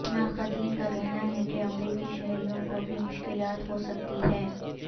ناقدین کا کہنا ہے کہ امریکی شہریوں کو بھی مشکلات ہو سکتی ہیں